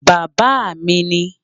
Bàbá mi ní